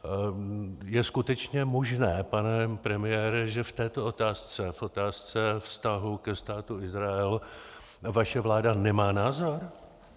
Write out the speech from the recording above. Je skutečně možné, pane premiére, že v této otázce, v otázce vztahu ke Státu Izrael, vaše vláda nemá názor?